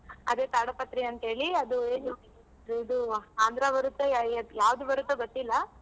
ಅದೇ ಕಾಡುಪತ್ರಿ ಅಂತ್ ಹೇಳಿ ಅದು ಇದು ಆಂಧ್ರ ಬರುತ್ತೋ ಯಾ~ ಯಾವ್ದ್ ಬರುತ್ತೋ ಗೊತ್ತಿಲ್ಲ.